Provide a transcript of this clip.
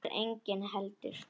Þar var enginn heldur.